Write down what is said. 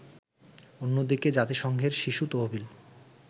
অন্যদিকে জাতিসংঘের শিশু তহবিল